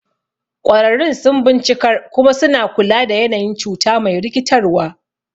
Ƙwararrun sun bincikar kuma suna kula da yanayin cuta me rikitarwa.